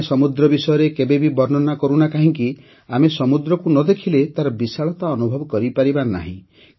କେହିଜଣେ ସମୁଦ୍ର ବିଷୟରେ କେବେବି ବର୍ଣ୍ଣନା କରୁନା କାହିଁକି ଆମେ ସମୁଦ୍ରକୁ ନ ଦେଖିଲେ ତାର ବିଶାଳତା ଅନୁଭବ କରିପାରିବା ନାହିଁ